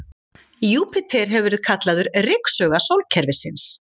Júpíter hefur verið kallaður ryksuga sólkerfisins.